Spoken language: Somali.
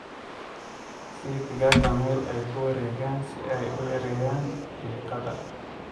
Sii digaagga meel ay ku wareegaan si ay u yareeyaan diiqada.